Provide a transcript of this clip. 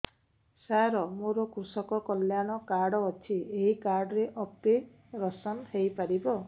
ସାର ମୋର କୃଷକ କଲ୍ୟାଣ କାର୍ଡ ଅଛି ଏହି କାର୍ଡ ରେ ଅପେରସନ ହେଇପାରିବ